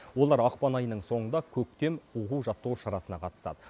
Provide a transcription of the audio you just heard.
олар ақпан айының соңында көктем оқу жаттығу шарасына қатысады